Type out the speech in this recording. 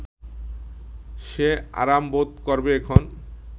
সে আরাম বোধ করবে এখন